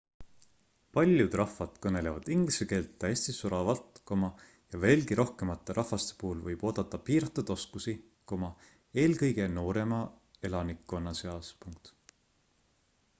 paljud rahvad kõnelevad inglise keelt täiesti soravalt ja veelgi rohkemate rahvaste puhul võib oodata piiratud oskusi eelkõige noorema elanikkonna seas